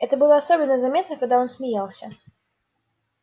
это было особенно заметно когда он смеялся